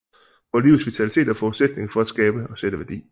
Hvor livets vitalitet er forudsætningen for at skabe og sætte værdi